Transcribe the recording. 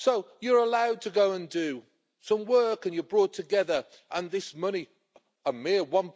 You are allowed to go and do some work and you are brought together, and this money a mere EUR